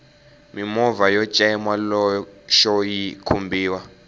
mimovha yo cema loxo yi khumbiwa